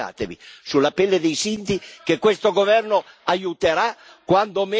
Vergognatevi, sulla pelle dei sinti che questo governo aiuterà quando meritano e